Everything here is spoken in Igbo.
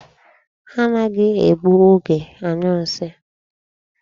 Ha anaghị egbu oge anyụ nsị.